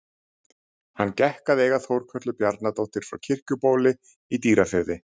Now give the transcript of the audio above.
Hann gekk að eiga Þórkötlu Bjarnadóttur frá Kirkjubóli í Dýrafirði.